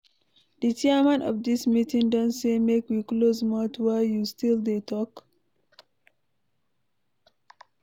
The chairman of dis meeting don say make we close mouth why you still dey talk?